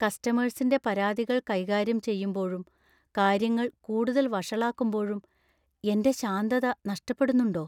കസ്റ്റമേഴ്‌സിന്‍റെ പരാതികൾ കൈകാര്യം ചെയ്യുമ്പോഴും കാര്യങ്ങൾ കൂടുതൽ വഷളാക്കുമ്പോഴും എന്‍റെ ശാന്തത നഷ്ടപ്പെടുന്നുണ്ടോ?